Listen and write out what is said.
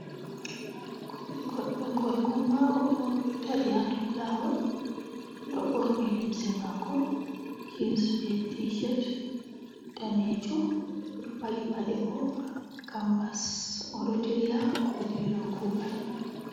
Goɗɗo gorko mauɗo o ɗo dari haa dou laawol. O ɗo ɓorni limse maako jins be tishet daneejum. O ɗo paɗi paɗe maako bo kambas, o ɗo dilla ba dillowo kuugal.